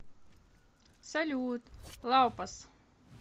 салют лаупас